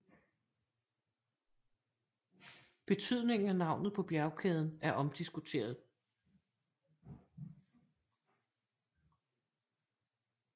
Betydningen af navnet på bjergkæden er omdiskuteret